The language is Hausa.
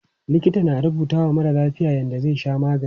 Likita na rubutawa marar lafiya yadda zai sha magani.